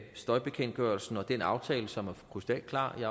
støjbekendtgørelsen og den aftale som er krystalklar om